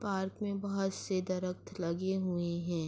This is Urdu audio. پارک مے بہت سے درخت لگے ہوئے ہے۔